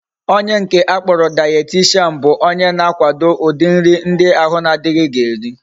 Onye nke akporo dietitian bu onye na akwado udi nri ndi ahu na adighi ga eri